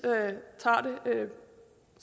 tager det